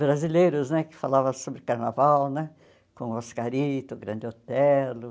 brasileiros né que falavam sobre carnaval né, com Oscarito, Grande Otelo.